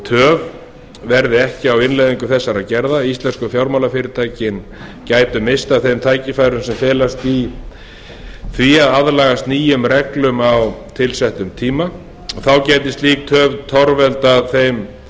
töf verði ekki á innleiðingu þessara gerða íslensku fjármálafyrirtækin gætu misst af þeim tækifærum sem felast í því að aðlagast nýjum reglum á tilsettum tíma þá gæti slík töf torveldað þeim að